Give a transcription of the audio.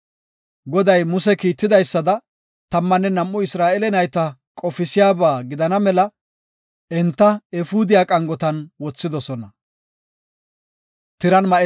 Goday Muse kiitidaysada, tammanne nam7u Isra7eele nayta qofisiyaba gidana mela enta, efuudiya qangotan wothidosona.